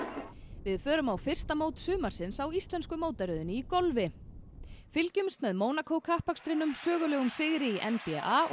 við förum á fyrsta mót sumarsins á íslensku mótaröðinni í golfi fylgjumst með sögulegum sigri í n b a og